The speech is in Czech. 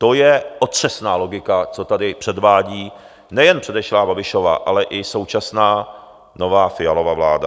To je otřesná logika, co tady předvádí nejen předešlá Babišova, ale i současná nová Fialova vláda.